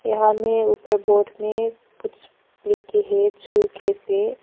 यहां में ऊपर बोर्ड में कुछ लिखे है छू के पेर।